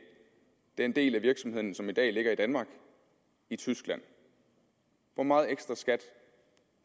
den del af virksomheden som i dag ligger i danmark i tyskland hvor meget ekstraskat